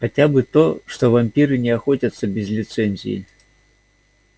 хотя бы то что вампиры не охотятся без лицензии